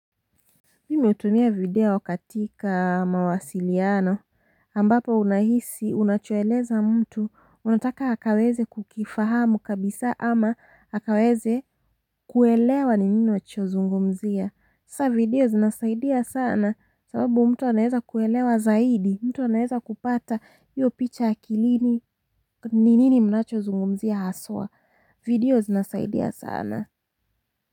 Mimi hutumia video katika mawasiliano ambapo unahisi unachoeleza mtu unataka akaweze kukifahamu kabisa ama akaweze kuelewa ni nini unachozungumzia sa video zinasaidia sana sababu mtu anaweza kuelewa zaidi mtu anaweza kupata hiyo picha akilini ni nini mnachozungumzia haswa video zinasaidia sana.